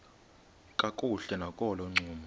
kakuhle nakolo ncumo